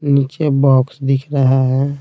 नीचे बॉक्स दिख रहा है।